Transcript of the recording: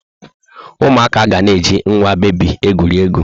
Ụmụaka ga na-eji nwa bebi egwuri egwu.